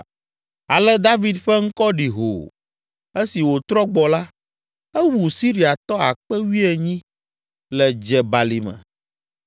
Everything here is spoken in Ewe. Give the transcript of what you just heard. Ale David ƒe ŋkɔ ɖi hoo. Esi wòtrɔ gbɔ la, ewu Siriatɔ akpe wuienyi (18,000) le Dze Balime